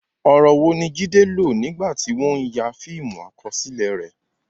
Ọ̀rọ̀ wo ni Jide lò nígbà tí wọ́n ń ya fíìmù àkọsílẹ̀ rẹ̀?